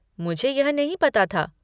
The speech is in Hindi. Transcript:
मुझे यह नहीं पता था।